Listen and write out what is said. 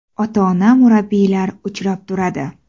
Ota-ona murabbiylar uchrab turadi.